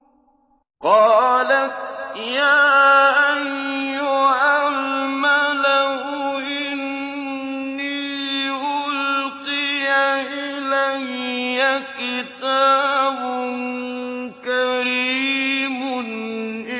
قَالَتْ يَا أَيُّهَا الْمَلَأُ إِنِّي أُلْقِيَ إِلَيَّ كِتَابٌ كَرِيمٌ